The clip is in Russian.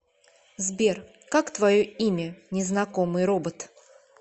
сбер как твое имя незнакомый робот